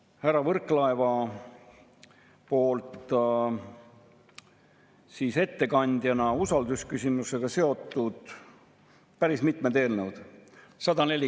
Kui ta näiteks tangib oma autot, ei ela päris Tallinnas, käib autoga tööl, iga päev peab sõitma, kulutab kütust mitmesaja euro eest kuus, siis teatavasti – täpseid numbreid ei ole ju olemas, aga me teame seda –, kui sa ostad 100 euro eest kütust, siis kaugelt üle poole sellest moodustub aktsiisist ja käibemaksust.